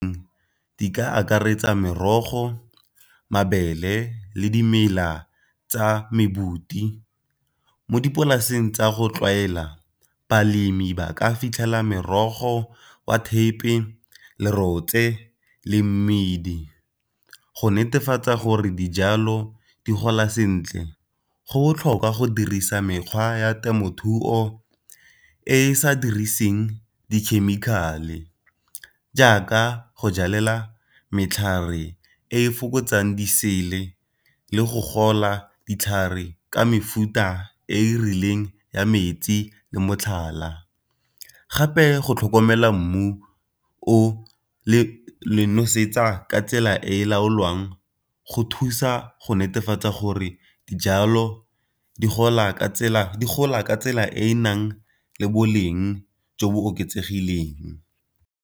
Di ka akaretsa merogo, mabele, le dimela tsa . Mo dipolaseng tsa go tlwaela balemi ba ka fitlhela merogo wa thepe, lerotse, le mmidi. Go netefatsa gore dijalo di gola sentle go botlhokwa go dirisa mekgwa ya temothuo e e sa diriseng dikhemikhale jaaka go jalela e fokotsang le go gola ditlhare ka mefuta e e rileng ya metsi le motlhala. Gape go tlhokomela mmu o, le nosetsa tsela e laolwang go thusa go netefatsa gore dijalo di gola ka tsela e e nang le boleng jo bo oketsegileng.